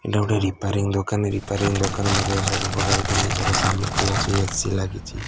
ଏଟା ଗୋଟେ ରିପ୍ୟରିଙ୍ଗି ଦୋକାନ ରିପ୍ୟରିଙ୍ଗି ମଧ୍ୟ୍ୟ ରେ ସବୁ ପ୍ରକାର ଜିନିଷର ସାମଗ୍ରୀ ଅଛି।